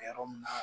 Yɔrɔ min na